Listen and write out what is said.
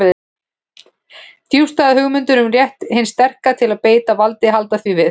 Djúpstæðar hugmyndir um rétt hins sterka til að beita valdi halda því við.